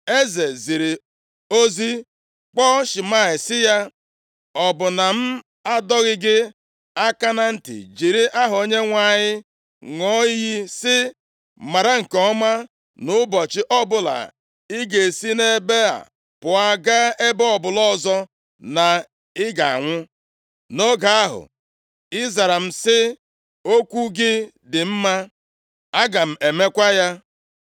eze ziri ozi kpọọ Shimei sị ya, “Ọ bụ na m adọghị gị aka na ntị, jiri aha Onyenwe anyị ṅụọ iyi sị, ‘Mara nke ọma nʼụbọchị ọbụla ị ga-esi nʼebe a pụọ gaa nʼebe ọbụla ọzọ, na ị ga-anwụ?’ Nʼoge ahụ, ị zara m sị m, ‘Okwu gị dị mma. Aga m emekwa ya.’